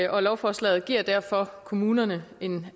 og lovforslaget giver derfor kommunerne en